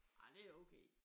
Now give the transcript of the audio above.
Ej det er okay